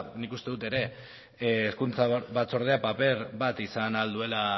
nik uste dut ere hezkuntza batzordea paper bat izan ahal duela